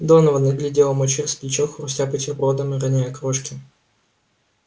донован глядел ему через плечо хрустя бутербродом и роняя крошки